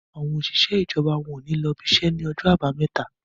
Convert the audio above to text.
àwọn òṣìṣẹ́ ijọba wón ní ló ibise ní Ọjọ́ aìkú